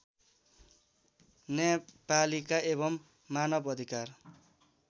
न्यायपालिका एवं मानवअधिकार